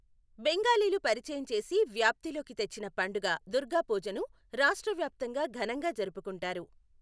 బెంగాలీలు పరిచయం చేసి వ్యాప్తిలోకి తెచ్చిన పండుగ దుర్గాపూజను రాష్ట్ర వ్యాప్తంగా ఘనంగా జరుపుకుంటారు.